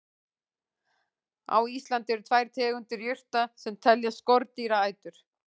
Á Íslandi eru tvær tegundir jurta sem teljast skordýraætur.